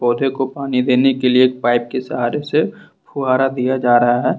पौधे को पानी देने के लिए पाइप के सहारे से फुहारा दिया जा रहा है।